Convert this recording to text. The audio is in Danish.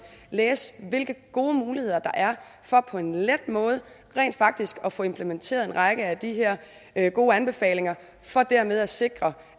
og læse hvilke gode muligheder der er for på en let måde rent faktisk at få implementeret en række af de her her gode anbefalinger for dermed at sikre